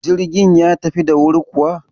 Jirgin ya tafi da wuri kuwa?